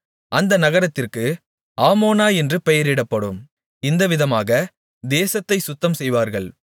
அந்த நகரத்திற்கு ஆமோனா என்று பெயரிடப்படும் இந்தவிதமாக தேசத்தைச் சுத்தம் செய்வார்கள்